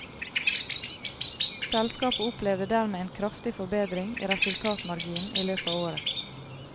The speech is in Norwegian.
Selskapet opplevde dermed en kraftig forbedring i resultatmarginen i løpet av året.